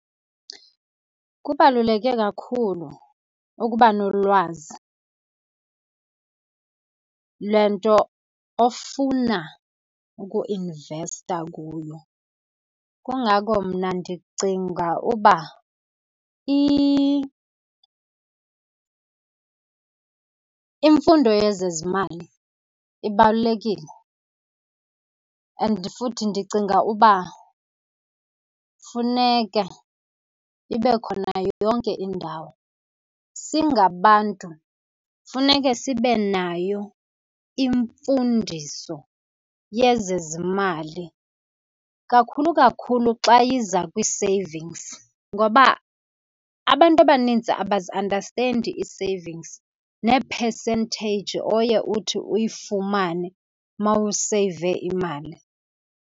Kubaluleke kakhulu ukuba nolwazi le nto ofuna uku-investa kuyo. Kungako mna ndicinga uba imfundo yezezimali ibalulekile and futhi ndicinga uba funeka ibe khona yonke indawo. Singabantu funeke sibe nayo imfundiso yezezimali, kakhulu kakhulu xa iza kwii-savings. Ngoba abantu abanintsi abazi-andastendi ii-savings nee-percentage oye uthi uyifumane uma useyive imali.